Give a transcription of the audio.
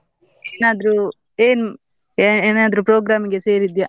ಏನಾದ್ರೂ ಏನ್ ಏನಾದ್ರೂ program ಇಗೆ ಸೇರಿದ್ಯಾ?